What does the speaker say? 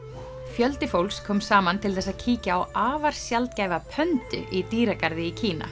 fjöldi fólks kom saman til þess að kíkja á afar sjaldgæfa í dýragarði í Kína